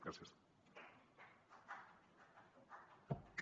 gràcies